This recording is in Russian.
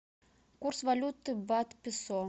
курс валюты бат песо